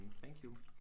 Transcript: Thank you